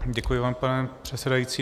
Děkuji vám, pane předsedající.